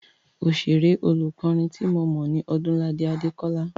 Oṣèré lọ́kùnrin ti mo mọ̀ ní Ọdúnladé Adékọ́lá.